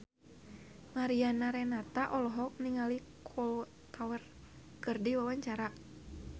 Mariana Renata olohok ningali Kolo Taure keur diwawancara